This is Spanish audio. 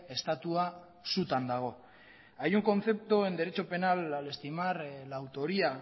estatua sutan dago hay un concepto en derecho penal al estimar la autoría